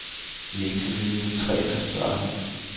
Vi er ikke så vilde med træer, svarede han.